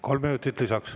Kolm minutit lisaks.